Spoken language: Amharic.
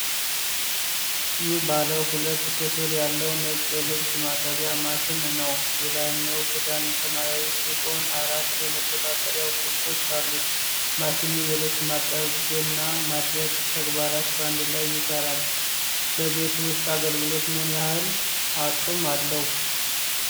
ይህ ባለ ሁለት ክፍል ያለው ነጭ የልብስ ማጠቢያ ማሽን ነው። የላይኛው ክዳን ሰማያዊ ሲሆን፣ አራት የመቆጣጠሪያ ቁልፎች አሉት። ማሽኑ የልብስ ማጠብና ማድረቅ ተግባራትን በአንድ ላይ ይሰራል። ለቤት ውስጥ አገልግሎት ምን ያህል አቅም አለው?